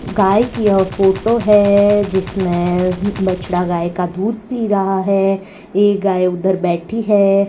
गाय की यह फोटो है जिसमें बछड़ा गाय का दूध पी रहा है एक गाय उधर बैठी है।